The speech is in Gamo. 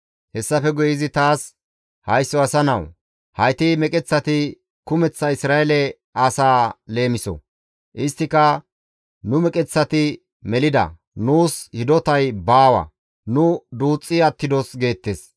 Hessafe guye izi taas, «Haysso asa nawu! Hayti meqeththati kumeththa Isra7eele asaa leemiso; isttika, ‹Nu meqeththati melida; nuus hidotay baawa; nu duuxxi attidos› geettes.